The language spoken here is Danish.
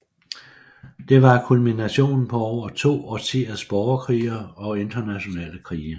Det var kulminationen på over to årtiers borgerkrige og internationale krige